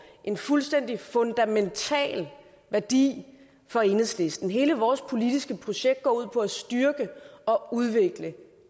en fuldstændig fundamental værdi for enhedslisten hele vores politiske projekt går ud på at styrke og udvikle